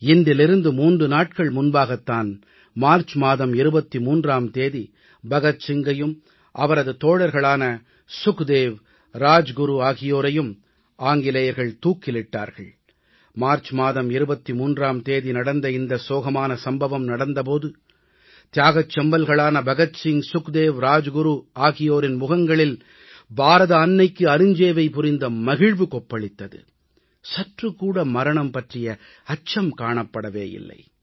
இன்றிலிருந்து 3 நாட்கள் முன்பாகத் தான் மார்ச் மாதம் 23ஆம் தேதி பகத் சிங்கையும் அவரது தோழர்களான சுக்தேவ் ராஜ்குரு ஆகியோரையும் ஆங்கிலேயர்கள் தூக்கிலிட்டார்கள் மார்ச் மாதம் 23ஆம் தேதி நடந்த இந்த சோகமான சம்பவம் நடந்த போது தியாகச் செம்மல்களான பகத் சிங் சுக்தேவ் ராஜகுரு ஆகியோரின் முகங்களில் பாரத அன்னைக்கு அருஞ்சேவை புரிந்த மகிழ்வு கொப்பளித்தது சற்று கூட மரணம் பற்றிய அச்சம் காணப்படவேயில்லை